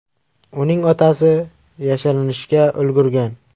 Uning otasi yashirinishga ulgurgan.